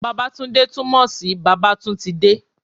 Babatunde tún mo sí bàbá tún ti de